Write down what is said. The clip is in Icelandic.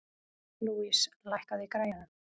Louise, lækkaðu í græjunum.